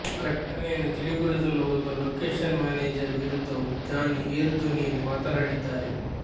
ಘಟನೆಯನ್ನು ತಿಳಿಗೊಳಿಸಲು ಹೋದ ಲೋಕೇಷನ್ ಮ್ಯಾನೇಜರ್ ವಿರುದ್ಧವೂ ಜಾನಿ ಏರು ಧ್ವನಿಯಲ್ಲಿ ಮಾತನಾಡಿದ್ದಾರೆ